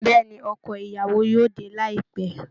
Bẹ́ẹ̀ ni, ọkọ ìyàwó yóò dé láìpẹ́